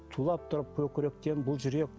тулап тұрып көкіректен бұл жүрек